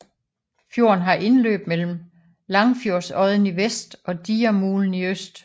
Fjorden har indløb mellem Langfjordodden i vest og Digermulen i øst